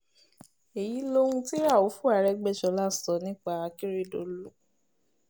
èyí lohun tí raufu arẹgbẹ́sọ̀lá sọ nípa akérèdọ́lù